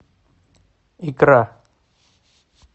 икра